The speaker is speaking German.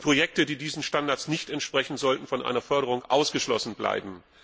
Projekte, die diesen Standards nicht entsprechen, sollten von einer Förderung ausgeschlossen bleiben.